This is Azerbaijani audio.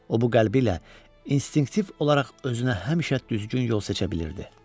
O bu qəlbi ilə instinktiv olaraq özünə həmişə düzgün yol seçə bilirdi.